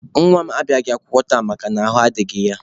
Nwa m abịaghị akwụkwọ tata makana ahụ adịghị ya.